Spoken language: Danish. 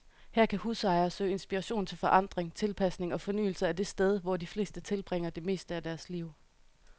Her kan husejere søge inspiration til forandring, tilpasning og fornyelse af det sted, hvor de fleste tilbringer det meste af deres liv.